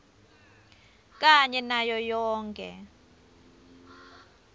kanye nayo yonkhe